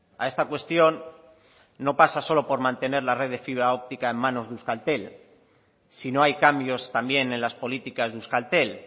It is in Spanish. a esta cuestión no pasa solo por mantener la red de fibra óptica en manos de euskaltel si no hay cambios también en las políticas de euskaltel